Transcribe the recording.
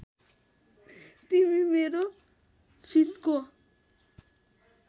तिमी मेरो फिसको